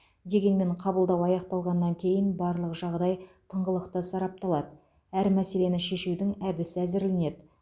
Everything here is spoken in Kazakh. дегенмен қабылдау аяқталғаннан кейін барлық жағдай тыңғылықты сарапталады әр мәселені шешудің әдісі әзірленеді